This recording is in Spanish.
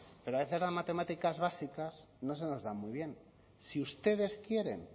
pero a veces las matemáticas básicas no se nos dan muy bien si ustedes quieren